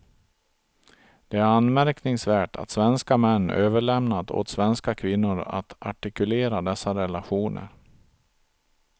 Det är anmärkningsvärt att svenska män överlämnat åt svenska kvinnor att artikulera dessa relationer.